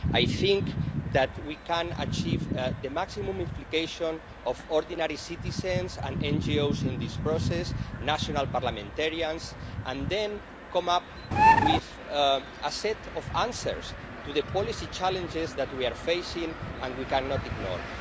I think that we can achieve the maximum implication of ordinary citizens and NGOs in this process, national parliamentarians, and then come up with a set of answers to the policy challenges that we are facing and we cannot ignore.